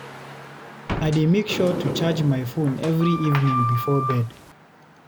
I dey make sure to charge my phone every evening before bed.